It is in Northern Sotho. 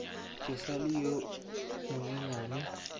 ke sa le yo monyenyane